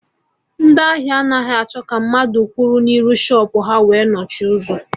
Ndị ahịa anaghị achọ ka mmadụ kwụrụ n'iru shọpụ ha wee nochie ụzọ